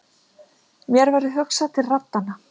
Mér verður hugsað til raddanna.